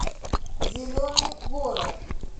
зеленый город